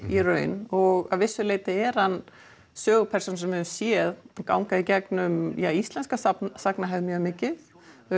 í raun og að vissu leyti er hann sögupersóna sem við höfum séð ganga í gegnum íslenska sagnahefð mjög mikið